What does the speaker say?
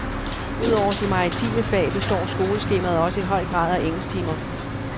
Udover de maritime fag, består skoleskemaet også i høj grad af engelsktimer.